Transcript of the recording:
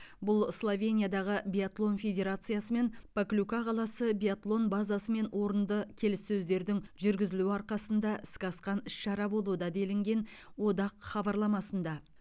бұл словениядағы биатлон федерациясы мен поклюка қаласы биатлон базасымен орынды келіссөздердің жүргізілуі арқасындағы іске асқан ісшара болуда делінген одақ хабарламасында